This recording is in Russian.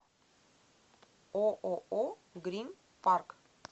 ооо грин парк